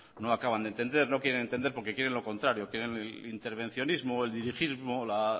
no acaban de entender no quieren entender porque quieren lo contrario quieren el intervencionismo el dirigismo la